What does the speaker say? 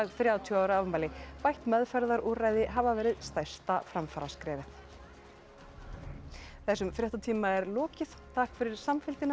þrjátíu ára afmæli bætt meðferðarúrræði hafi verið stærsta framfaraskrefið þessum fréttatíma er lokið takk fyrir samfylgdina